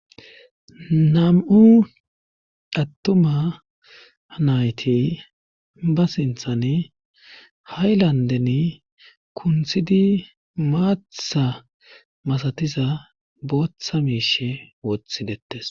Nam7u attuma nayti ba sinthan ha7i landen kunthidi maatha masatiza booththa miishe wothidettes